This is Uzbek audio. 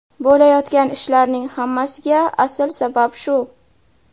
Bo‘layotgan ishlarning hammasiga asl sabab shu.